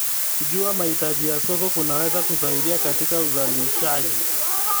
Kujua mahitaji ya soko kunaweza kusaidia katika uzalishaji.